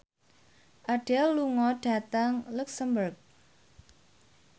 Adele lunga dhateng luxemburg